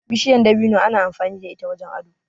Bishiyar dabino ana amfani da ita wajen ado.